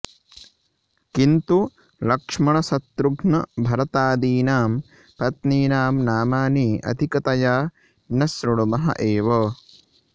किन्तु लक्ष्मणशत्रुघ्नभरतादीनां पत्नीनां नामानि अधिकतया न श्रुणुमः एव